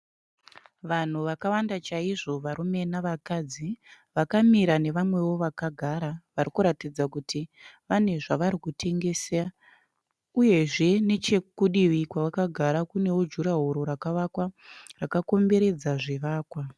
Vanhu vakawanda chaizvo varume navakadzi vakamira nevamwewo vakagara vari kuratidza kuti vane zvari kutengesa uyezve nechekudivi kwakagara kunewo jurahoro rakavakwa rakakomberedza zvivakwa.